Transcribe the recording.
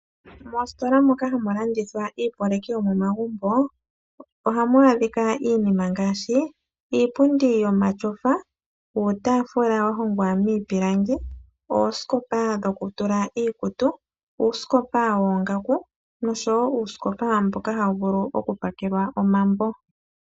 Moostola moka hamu landithwa iyopaleki yomomagumbo, ohamu adhika iinima ngaashi iipundi yomatyofa, uutaafula wahongwa miipilangi, oosikopa dhokutula iikutu, uusikopa woongaku noshowo uusikopa mboka hawu vulu okupakelwa omambo.